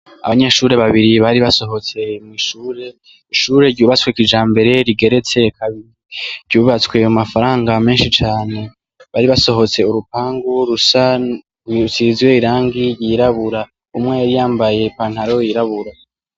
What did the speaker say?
Abanyeshuri babiri bari basohotse mw'ishure, Ishure ryubatswe kijambere rigeretse kabiri ryubatswe mu mafaranga meshi cane bari basohotse urupangu rusa rusize irangi ryirabura umwe yari yambaye ipantaro yirabura.